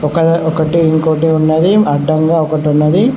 ఒకదా ఒకటి ఇంకోటి ఉన్నది అడ్డంగా ఒకటున్నది.